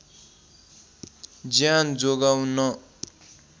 ज्यान जोगाउन